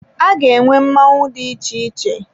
Aga enwe mmọnwụ dị iche iche.